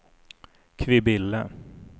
Kvibille